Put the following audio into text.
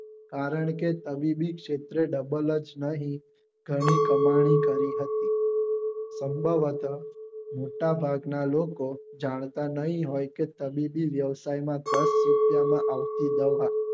કારણકે તબીબી શેત્રે double જ નહિ ઘણી કામની કરી હતી મોટા ભાગ ના લોકો જાણતા નહિ હોઈ કે તબીબી વ્યવસાય માં દસ રૂપિયા માં આવતી દવા